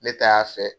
Ne ta y'a fɛ